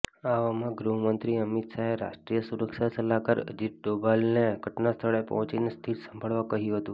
આવામાં ગૃહમંત્રી અમિત શાહે રાષ્ટ્રિય સુરક્ષા સલાહકાર અજિત ડોભાલને ઘટનાસ્થળે પહોંચીને સ્થિતિ સંભાળવા કહ્યું હતુ